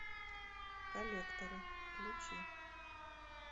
коллекторы включи